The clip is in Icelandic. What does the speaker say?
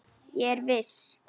Ég er viss.